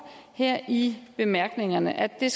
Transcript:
her i bemærkningerne at det